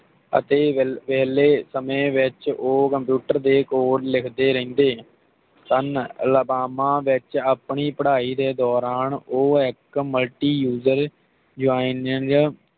ਅਤੇ ਵੇ ਵੇਹਲੇ ਸਮੇਂ ਵਿਚ ਓ ਕੰਪਿਊਟਰ ਦੇ ਕੋਡ ਲਿਖਦੇ ਰਹਿੰਦੇ ਸਨ ਅਲਗਾਮਾ ਵਿਚ ਆਪਣੀ ਪੜ੍ਹਾਈ ਦੇ ਦੌਰਾਨ ਉਹ ਇਕ ਮੁਲਟਿਊਜਰ ਜੋਈਨ